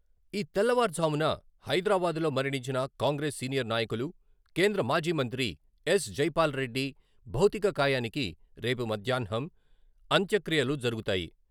ఈ తెల్లవారుఝామున హైదరాబాద్లో మరణించిన కాంగ్రెస్ సీనియర్ నాయకులు, కేంద్రమాజీ మంత్రి ఎస్.జైపాల్ రెడ్డి భౌతిక కాయానికి రేపు మధ్యాహ్నం అంత్యక్రియలు జరుగుతాయి.